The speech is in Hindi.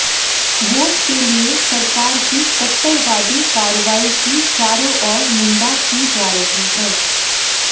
वोट के लिए सरकार की कट्टरवादी कार्रवाई की चारों ओर निंदा की जा रही है